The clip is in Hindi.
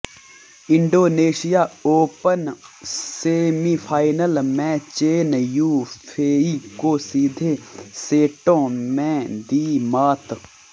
इंडोनेशिया ओपनः सेमीफाइनल में चेन यू फेई को सीधे सेटों में दी मात